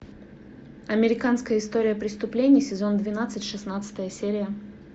американская история преступлений сезон двенадцать шестнадцатая серия